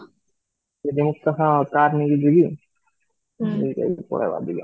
ଏବେ ମୁଁ car ନେଇକି ଯିବି ସେଥରେ ପଳେଇବା ଦିଜଣ